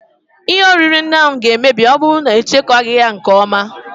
Ihe oriri ndị ahụ ga-emebi ma ọ bụrụ na echekwaghị ha nke ọma